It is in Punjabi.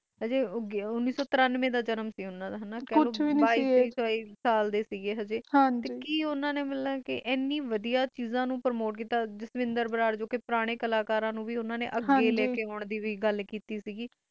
ਹਜੇ ਉਣੀ ਸੋ ਤਾਰਾਂਵੇ ਦਾ ਜਨਮ ਸੀ ਓਹਨਾ ਦਾ ਅਠਾਈ-ਉਨੱਤੀ ਅਗੇ ਡੇ ਸੀ ਓਹਨੇ ਨੇ ਹਨੀ ਵਾਡਾ ਚਜ ਨੂੰ ਪਰਮੋਟ ਕੀਤਾ ਜਿਸਵਿਦਰ ਬਰਾੜ ਪੁਰਾਣੇ ਕਲਾਕਾਰਾਂ ਨੂੰ ਅਗੈ ਲੈਣ ਦੀ ਵੀ ਗੱਲ ਲਈ ਕਈ ਆਯਾ